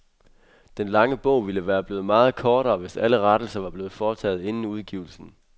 Den lange bog ville være blevet meget kortere, hvis alle rettelser var blevet foretaget inden udgivelsen.